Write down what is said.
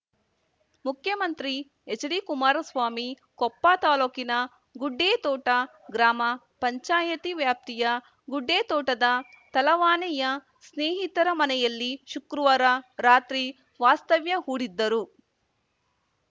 ಮುಖ್ಯಮಂತ್ರಿ ಎಚ್‌ಡಿಕುಮಾರಸ್ವಾಮಿ ಕೊಪ್ಪ ತಾಲೂಕಿನ ಗುಡ್ಡೇತೋಟ ಗ್ರಾಮ ಪಂಚಾಯಿತಿ ವ್ಯಾಪ್ತಿಯ ಗುಡ್ಡೇತೋಟದ ತಲವಾನೆಯ ಸ್ನೇಹಿತರ ಮನೆಯಲ್ಲಿ ಶುಕ್ರವಾರ ರಾತ್ರಿ ವಾಸ್ತವ್ಯ ಹೂಡಿದ್ದರು